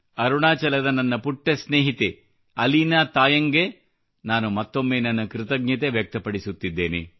ಅರುಣಾಚಲದ ನನ್ನ ಪುಟ್ಟ ಸ್ನೇಹಿತೆ ಅಲೀನಾ ತಾಯಂಗ್ ಗೆ ನಾನು ಮತ್ತೊಮ್ಮೆ ನನ್ನ ಕೃತಜ್ಞತೆ ವ್ಯಕ್ತಪಡಿಸುತ್ತಿದ್ದೇನೆ